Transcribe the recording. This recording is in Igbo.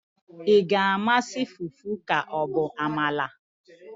ị ga-amasị fufu ka ọ bụ amala?